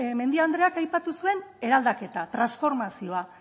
mendia andreak aipatu zuen eraldaketa transformazioa